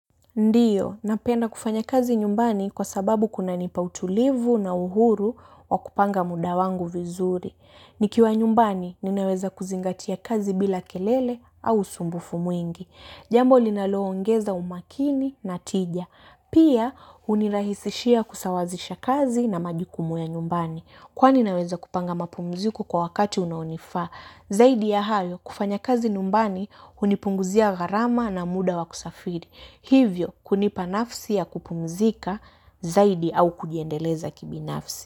Ndiyo, napenda kufanya kazi nyumbani kwa sababu kuna nipa utulivu na uhuru wa kupanga muda wangu vizuri. Nikiwa nyumbani, ninaweza kuzingatia kazi bila kelele au sumbufu mwingi. Jambo linaloongeza umakini na tija. Pia hunirahisishia kusawazisha kazi na majukumu ya nyumbani. Kwani naweza kupanga mapumziko kwa wakati unaonifaa. Zaidi ya hayo, kufanya kazi nyumbani, hunipunguzia gharama na muda wa kusafiri. Hivyo kunipa nafsi ya kupumzika zaidi au kujiendeleza kibinafsi.